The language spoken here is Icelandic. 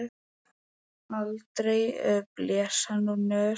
Aldrei blés hann úr nös.